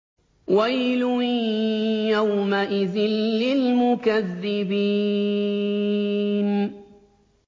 وَيْلٌ يَوْمَئِذٍ لِّلْمُكَذِّبِينَ